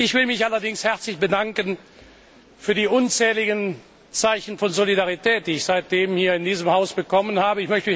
Ich will mich allerdings herzlich bedanken für die unzähligen Zeichen von Solidarität, die ich seitdem in diesem Haus bekommen habe.